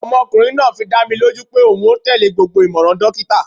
Ọmọkunrin naa fi dá mi loju pe oun o tele gbogbo imọran dokita